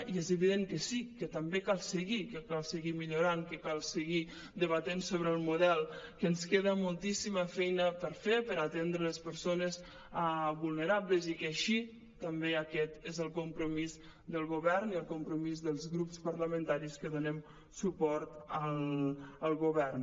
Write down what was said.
i és evident que sí que també cal seguir que cal seguir millorant que cal seguir debatent sobre el model que ens queda moltíssima feia per fer per aten·dre les persones vulnerables i que així també aquest és el compromís del govern i el compromís dels grups parlamentaris que donem suport al govern